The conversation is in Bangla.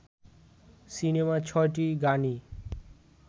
সিনেমার ছয়টি গানই